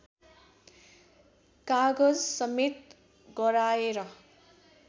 कागजसमेत गराएर